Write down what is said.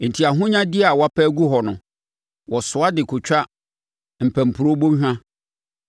Enti ahonyadeɛ a wɔapɛ agu hɔ no wɔsoa de kɔtwa mpampuro bɔnhwa.